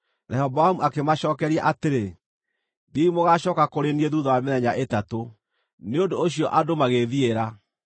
Rehoboamu akĩmacookeria atĩrĩ, “Thiĩi mũgaacooka kũrĩ niĩ thuutha wa mĩthenya ĩtatũ.” Nĩ ũndũ ũcio andũ magĩĩthiĩra.